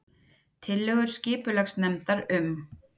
Tillögur skipulagsnefndar um